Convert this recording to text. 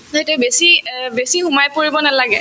নহয় বেছি অ বেছি সোমাই পৰিব নালাগে